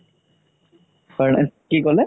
হয় কি ক'লে